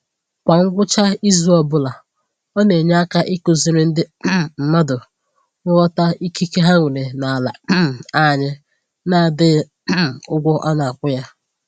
Kwa ngwụcha izu ọbụla, ọ na-enye aka ịkụziri ndị um mmadụ ịghọta ikike ha nwere n'ala um anyị na-adịghị um ụgwọ a na-akwụ ya